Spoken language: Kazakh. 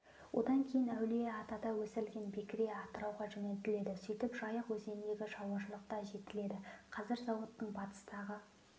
одан кейін әулие атада өсірілген бекіре атырауға жөнелтіледі сөйтіп жайық өзеніндегі шаруашылықта жетіледі қазір зауыттың батыстағы